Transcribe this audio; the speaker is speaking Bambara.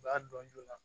U b'a dɔn joona